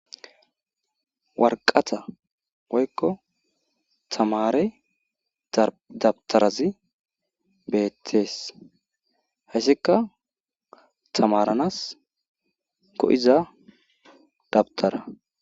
Waraqata woykko tammare dawutarazi betees. hayssikka tamaranas go'iza dawutara